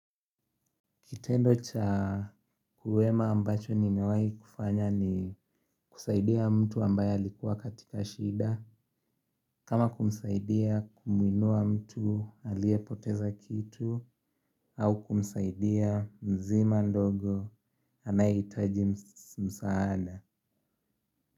Kitendo cha wema ambacho nimewahi kufanya ni kusaidia mtu ambaye alikuwa katika shida. Kama kumsaidia kumuinua mtu aliyepoteza kitu au kumsaidia mzima ndogo anayehitaji msaada.